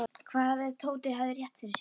Hvað ef Tóti hefði rétt fyrir sér?